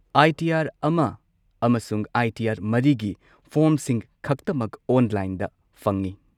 ꯑꯥꯏ. T. R ꯑꯃꯁꯨꯡ I. T. R ꯒꯤ ꯐꯣꯔꯝꯁꯤꯡ ꯈꯛꯇꯃꯛ ꯑꯣꯟꯂꯥꯏꯟꯗ ꯐꯪꯉꯤ꯫